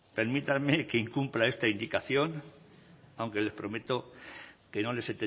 permítanme que incumpla esta indicación aunque les prometo que no les